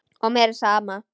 Og mér er sama.